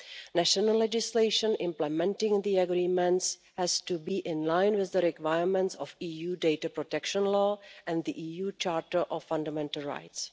National legislation implementing the agreements has to be in line with the requirements of EU data protection law and the EU Charter of Fundamental Rights.